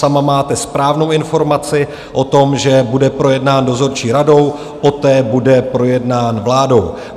Sama máte správnou informaci o tom, že bude projednán dozorčí radou, poté bude projednán vládou.